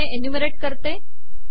मी हे एन्युमरेट करते